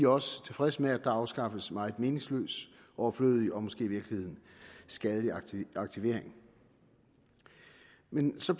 også tilfredse med at der afskaffes meget meningsløs overflødig og måske i virkeligheden skadelig aktivering men så